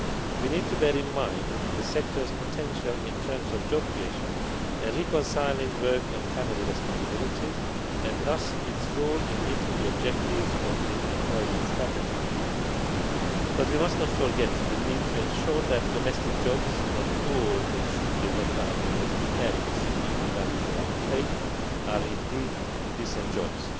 We need to bear in mind the sector's potential in terms of job creation and reconciling work and family responsibilities, and thus its role in meeting the objectives of the employment strategy. However, we must not forget the need to ensure that domestic jobs not all of which should be regarded as precarious and undervalued or underpaid are indeed decent jobs.